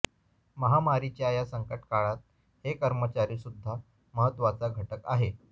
महामारीच्या या संकटकाळात हे कर्मचारीसुध्दा महत्वाचा घटक आहे